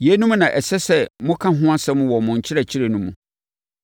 Yeinom na ɛsɛ sɛ moka ho asɛm wɔ mo nkyerɛkyerɛ no mu.